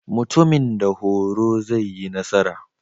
Mutumin da horo zai yi nasara.